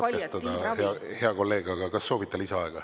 Ma ei taha teid katkestada, hea kolleeg, aga kas soovite lisaaega?